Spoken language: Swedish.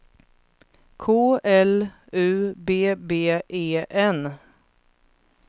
K L U B B E N